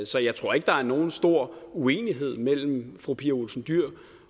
så jeg tror ikke der er nogen stor uenighed mellem fru pia olsen dyhr